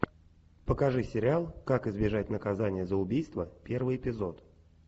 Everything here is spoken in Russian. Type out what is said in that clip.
покажи сериал как избежать наказание за убийство первый эпизод